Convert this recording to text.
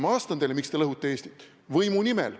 Ma vastan teile, miks te lõhute Eestit: võimu nimel.